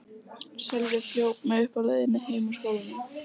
Sölvi hljóp mig uppi á leiðinni heim úr skólanum.